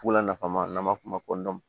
Fula nafama n'an b'a f'o ma